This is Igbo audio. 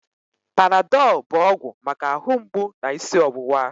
Panadọl bụ ọgwụ maka ahụ mgbụ na isi ọwụwa